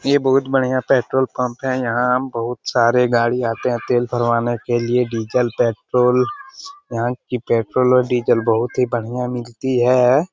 ये बहुत बढिया पेट्रोल पंप है | यहाँ बहुत सारे गाड़ी आते हैं तेल भरवाने के लिए डीजल पेट्रोल यहाँ की पेट्रोल और डीजल बहुत ही बढिया मिलती है ।